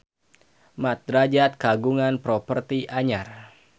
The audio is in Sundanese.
Mat Drajat kagungan properti anyar